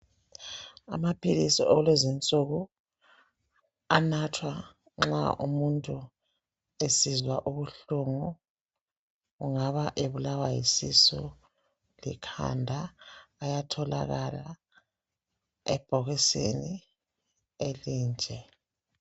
amaphilisi akulezi insuku anathwa nxa umuntu esizwa ubuhlungu engabe ebulawa yisisu likhanda ayatholakala ebhokisini elinje